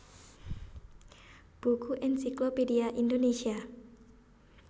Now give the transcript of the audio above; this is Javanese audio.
Buku Ensiklopedia Indonesia